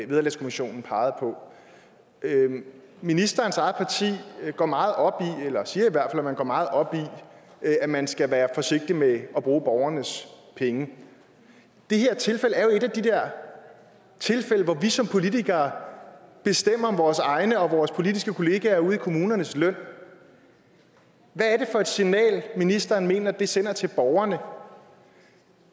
vederlagskommissionen pegede på ministerens eget parti går meget op i eller siger at man går meget op i at man skal være forsigtig med at bruge borgernes penge det her tilfælde er jo et af de tilfælde hvor vi som politikere bestemmer vores egen og vores politiske kollegaer ude i kommunernes løn hvad er det for et signal ministeren mener at det sender til borgerne